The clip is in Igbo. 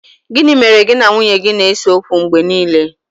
Gini mere gi na nwunye gi na-ese okwu mgbe nile